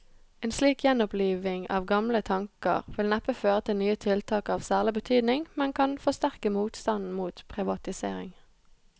En slik gjenoppliving av gamle tanker vil neppe føre til nye tiltak av særlig betydning, men kan forsterke motstanden mot privatisering.